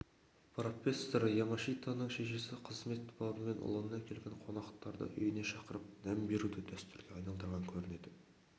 профессор ямашитаның шешесі қызмет бабымен ұлына келген қонақтарды үйіне шақырып дәм беруді дәстүрге айналдырған көрінеді